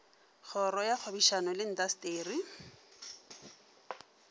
kgoro ya kgwebišano le intaseteri